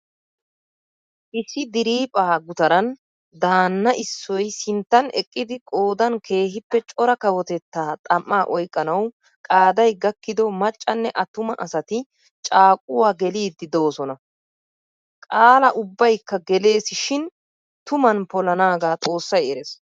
Issi diriiphphaa gutaran daanna issoy sinttan eqqidi qoodan keehippe cora kawotettaa xam'aa oyqqanawu qaday gakkido maccanne attuma asati caaqquwa geliidi doosonna. Qaala ubbaykka gelees shin tuman polanaaga xoossay erees.